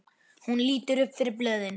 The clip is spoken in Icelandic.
Hún lítur upp fyrir blöðin.